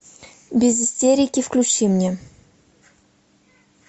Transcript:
без истерики включи мне